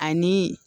Ani